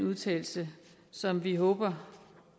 vedtagelse som vi håber